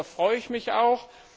Darüber freue ich mich auch.